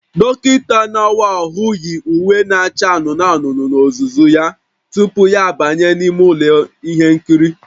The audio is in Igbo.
Dọkịta na-awa ahụ yi uwe na-acha anụnụ anụnụ n'ozuzu ya tupu ya abanye n'ime ụlọ ihe nkiri